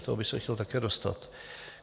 K tomu bych se chtěl také dostat.